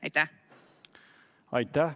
Aitäh!